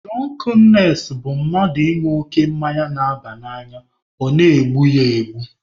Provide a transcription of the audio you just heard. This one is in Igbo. Dụrọnknes bụ mmadụ ịṅụ oke mmanya na-aba n'anya ọ na-egbu ya egbu.